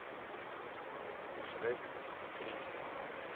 шрек три